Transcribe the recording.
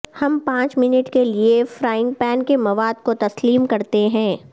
ہم پانچ منٹ کے لئے فرینگ پین کے مواد کو تسلیم کرتے ہیں